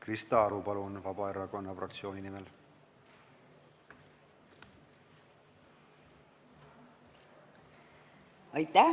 Krista Aru, palun, Vabaerakonna fraktsiooni nimel!